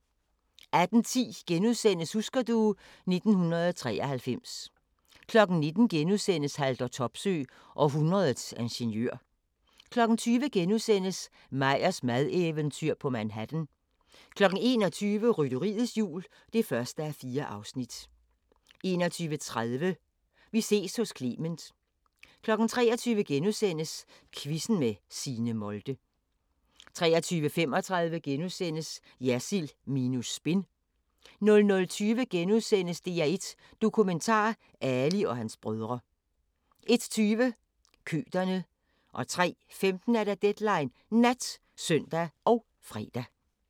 18:10: Husker du ... 1993 * 19:00: Haldor Topsøe – århundredets ingeniør * 20:00: Meyers madeventyr på Manhattan * 21:00: Rytteriets Jul (1:4) 21:30: Vi ses hos Clement 23:00: Quizzen med Signe Molde * 23:35: Jersild minus spin * 00:20: DR1 Dokumentar: Ali og hans brødre * 01:20: Køterne 03:15: Deadline Nat (søn og fre)